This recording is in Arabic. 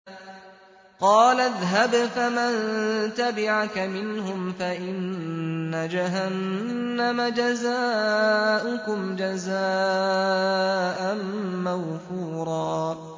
قَالَ اذْهَبْ فَمَن تَبِعَكَ مِنْهُمْ فَإِنَّ جَهَنَّمَ جَزَاؤُكُمْ جَزَاءً مَّوْفُورًا